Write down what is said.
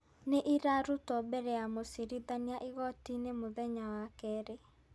Nĩ irarutwo mbere ya mũcirithania igoti-inĩ mũthenya wa kerĩ.